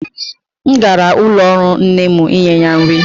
M gara ụlọ ọrụ nne m inye ya nri.